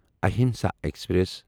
Ahimsa express